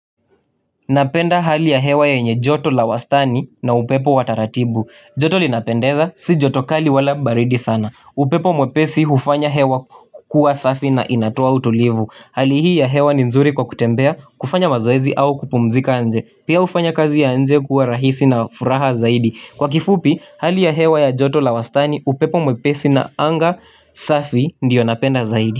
Napenda hali ya hewa yenye joto la wastani na upepo wa taratibu. Joto linapendeza si joto kali wala baridi sana. Upepo mwepesi ufanya hewa kuwa safi na inatoa utulivu. Hali hii ya hewa ni nzuri kwa kutembea kufanya mazoezi au kupumzika nje. Pia ufanya kazi ya anje kuwa rahisi na furaha zaidi. Kwa kifupi hali ya hewa ya joto la wastani upepo mwepesi na anga safi ndiyo napenda zaidi.